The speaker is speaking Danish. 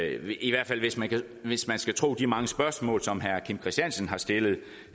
i hvert fald hvis man hvis man skal tro de mange spørgsmål som herre kim christiansen har stillet